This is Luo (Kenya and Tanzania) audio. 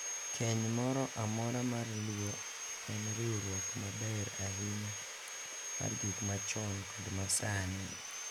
Keny moro amora mar Luo en riwruok maber ahinya mar gik machon kod ma sani,